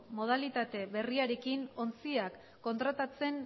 modalitate berriarekin ontziak kontratatzen